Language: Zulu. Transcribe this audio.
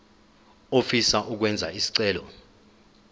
ofisa ukwenza isicelo